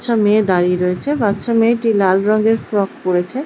বাচ্চা মেয়ে দাঁড়িয়ে রয়েছে বাচ্চা মেয়েটি লাল রঙের ফ্রক পড়েছে ।